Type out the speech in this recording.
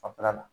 Fanfɛla la